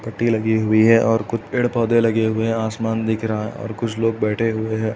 पट्टी लगी हुई है और कुछ पेड़-पोधे लगे हुए हैं आसमान दिख रहा है और कुछ लोग बेठे हुए हैं।